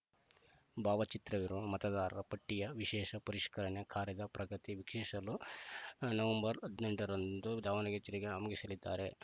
ಭಾವಚಿತ್ರವಿರುವ ಮತದಾರರ ಪಟ್ಟಿಯ ವಿಶೇಷ ಪರಿಷ್ಕರಣೆ ಕಾರ್ಯದ ಪ್ರಗತಿ ವೀಕ್ಷಿಸಲು ಹದಿನೆಂಟರಂದು ದಾವಣಗೆರೆ ಜಿಲ್ಲೆಗೆ ಆಗಮಿಸಲಿದ್ದಾರೆ